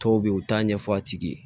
Dɔw bɛ yen u t'a ɲɛfɔ a tigi ye